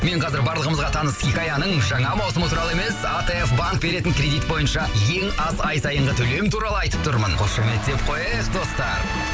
мен қазір барлығымызға таныс хикаяның жаңа маусымы туралы емес атф банк беретін кредит бойынша ең аз ай сайынғы төлем туралы айтып тұрмын қошеметтеп қояйық достар